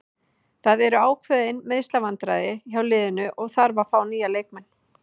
Það eru ákveðin meiðslavandræði hjá liðinu og þarf að fá nýja leikmenn.